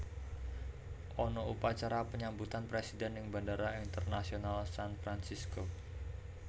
Ana upacara penyambutan presiden ning Bandara Internasional San Fransisco